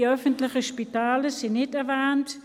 Die öffentlichen Spitäler sind nicht erwähnt.